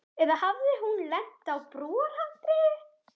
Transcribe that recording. Eða hafði hún lent á brúarhandriði.